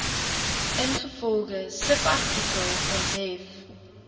ingevolge subartikel onthef